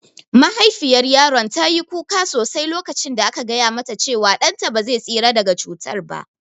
Mahaifiyar yaron ta yi kuka sosai lokacin da aka gaya mata cewa ɗan ta ba zai tsira daga cutar ba